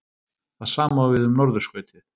Það sama á við um norðurskautið.